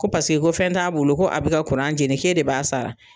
Ko paseke ko fɛn t'a bolo ko a be ka kuran jeni k'e de b'a sara